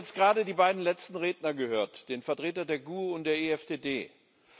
Wir haben jetzt gerade die beiden letzten Redner gehört den Vertreter der GUE und den Vertreter der EFDD.